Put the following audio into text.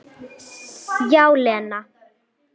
Já, Lena.